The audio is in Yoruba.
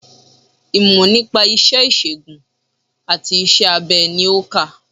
Ìmò nípa isé ìsègùn àti isé abe ni o nkà